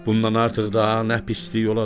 Bundan artıq daha nə pislik olacaq?